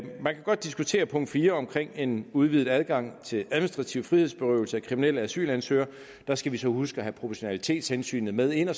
man kan godt diskutere punkt fire omkring en udvidet adgang til administrativ frihedsberøvelse af kriminelle asylansøgere der skal vi så huske at have proportionalitetshensynet med ind og